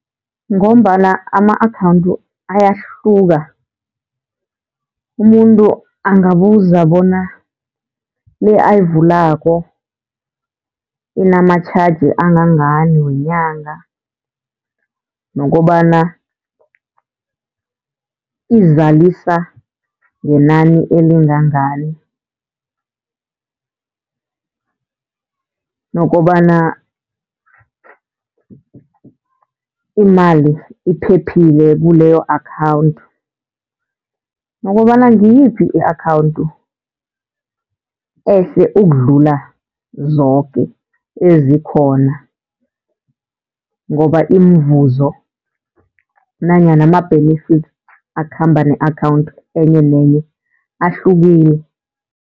Ngombana ama-akhawunthu ayahluka, umuntu angabuza bona le akayivulako inama-charge angangani wenyanga, nokobana izalisa ngenani elingangani. Nokobana imali iphephile kuleyo akhawunthu, nokobana ngiyiphi i-akhawunthu ehle ukudlula zoke ezikhona. Ngoba imivuzo nanyana ama-benefits akhamba ne-akhawunthu enye nenye ahlukile.